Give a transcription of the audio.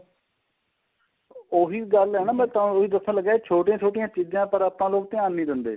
ਉਹੀ ਗੱਲ ਏ ਮੈਂ ਤਾਂਹੀ ਉਹੀ ਦੱਸਣ ਲੱਗਿਆਂ ਛੋਟੀਆਂ ਛੋਟੀਆਂ ਚੀਜਾਂ ਪਰ ਆਪਾਂ ਲੋਕ ਧਿਆਨ ਨਹੀਂ ਦਿੰਦੇ